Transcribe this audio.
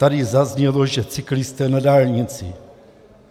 Tady zaznělo, že cyklisté na dálnici.